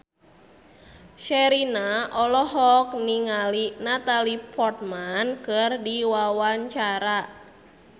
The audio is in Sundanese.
Sherina olohok ningali Natalie Portman keur diwawancara